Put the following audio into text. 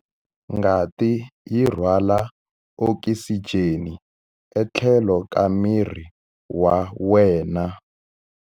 Ngati yi rhwala okisijeni etlhelo ka miri wa wena.